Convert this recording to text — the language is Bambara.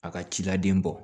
A ka ci la den bɔ